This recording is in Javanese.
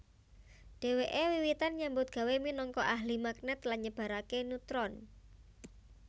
Dheweke wiwitan nyambut gawé minangka ahli magnet lan nyebarake neutron